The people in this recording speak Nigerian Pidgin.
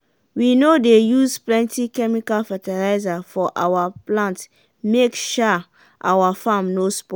we no dey use plenty chemical fertilizer for awa plant make um awa farm no spoil.